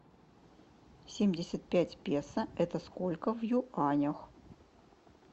семьдесят пять песо это сколько в юанях